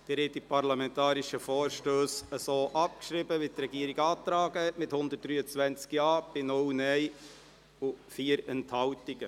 Sie haben die parlamentarischen Vorstösse so abgeschrieben, wie es die Regierung beantragt hat, und zwar mit 123 Ja- bei 0 Nein-Stimmen und 4 Enthaltungen.